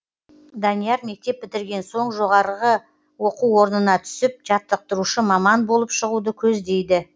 данияр мектеп бітірген соң жоғары оқу орнына түсіп жаттықтырушы маман болып шығуды көздейді